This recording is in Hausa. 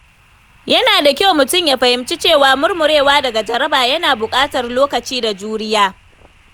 Yana da kyau mutum ya fahimci cewa murmurewa daga jaraba yana buƙatar lokaci da juriya.